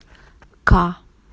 к